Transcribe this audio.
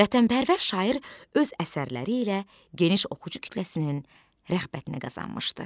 Vətənpərvər şair öz əsərləri ilə geniş oxucu kütləsinin rəğbətini qazanmışdır.